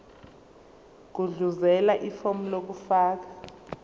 gudluzela ifomu lokufaka